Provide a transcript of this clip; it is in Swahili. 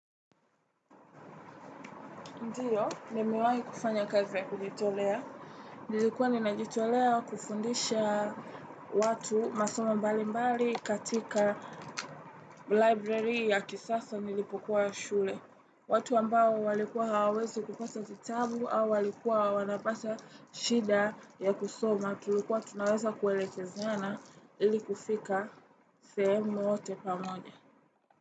Ndiyo, nime wahi kufanya kazi ya kujitolea. Nilikua nina jitolea kufundisha watu masomo mbali mbali katika library ya kisasa nilipokuwa ya shule. Watu ambao walikuwa hawezi kupasa vitabu au walikuwa wanapasa shida ya kusoma. Tulikuwa tunaweza kuelekezana ili kufika sehemu wote pamonye.